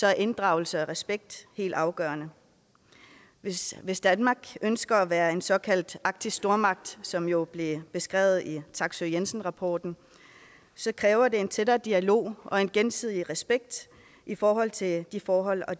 er inddragelse og respekt helt afgørende hvis hvis danmark ønsker at være en såkaldt arktisk stormagt som det jo blev beskrevet i taksøe jensen rapporten så kræver det en tættere dialog og en gensidig respekt i forhold til de forhold og